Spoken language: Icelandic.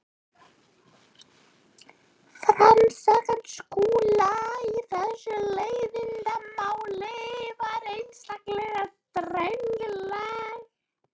Framganga Skúla í þessu leiðindamáli var einstaklega drengileg.